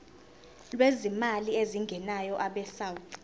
lwezimali ezingenayo abesouth